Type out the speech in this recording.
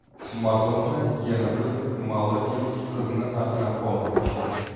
Madonna yana bir malavilik qizni asrab olmoqchi.